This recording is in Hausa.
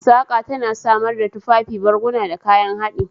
Saƙa tana samar da tufafi, barguna, da kayan haɗi.